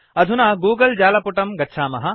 अधुना गूगल जालपुटं गच्छामः